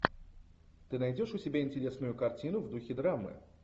ты найдешь у себя интересную картину в духе драмы